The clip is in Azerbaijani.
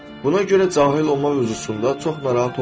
Buna görə cahil olmaq üsulusunda çox narahat olma.